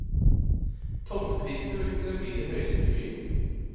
Tomteprisene vil kunne bli de høyeste i byen.